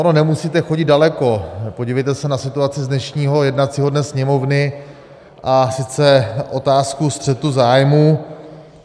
Ono nemusíte chodit daleko, podívejte se na situaci z dnešního jednacího dne Sněmovny, a sice otázku střetu zájmů.